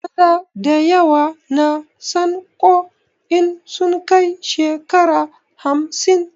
Maza dayawa na sanƙo in sun kai shekara hamsin